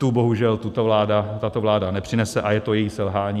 Tu bohužel tato vláda nepřinese a je to její selhání.